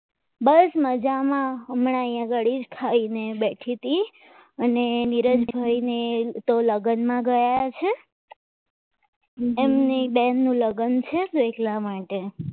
બસ મજામાં હમણાં અહીંયા આગળી ખાઈને બેઠી તી અને નીરજ ભાઈ ને તો લગ્નમાં ગયા છે એમની બેન નું લગ્ન છે એટલા માટે